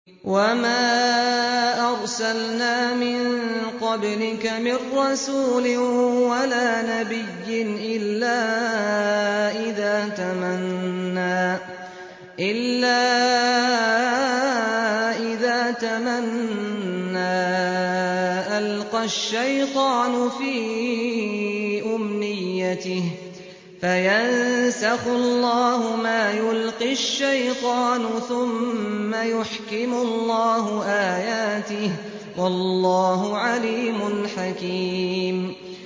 وَمَا أَرْسَلْنَا مِن قَبْلِكَ مِن رَّسُولٍ وَلَا نَبِيٍّ إِلَّا إِذَا تَمَنَّىٰ أَلْقَى الشَّيْطَانُ فِي أُمْنِيَّتِهِ فَيَنسَخُ اللَّهُ مَا يُلْقِي الشَّيْطَانُ ثُمَّ يُحْكِمُ اللَّهُ آيَاتِهِ ۗ وَاللَّهُ عَلِيمٌ حَكِيمٌ